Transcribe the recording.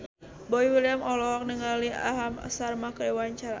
Boy William olohok ningali Aham Sharma keur diwawancara